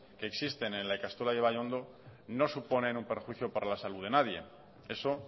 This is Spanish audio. que existen en la ikastola de ibaiondo no suponen un perjuicio para la salud de nadie eso